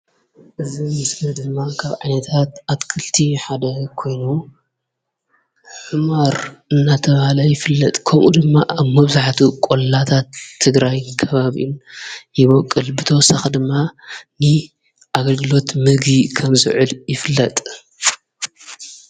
እዙይ ምስሊ ዴማ ካብ ዓይነታት ኣትኽልቲ ሓደ ኾይኑ ሑመር እናተብሃለ ይፍለጥ ። ኸምኡ ድማ ኣብ መብዛሕቲኢ ቆላማ ኸባብታት ትግራይ ይቦቅል ።ብተወሳኺ ድማ ንኣገልግሎት ምግቢ ከም ዝውዕል ይፍለጥ።